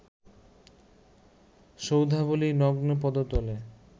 সৌধাবলি নগ্ন পদতলে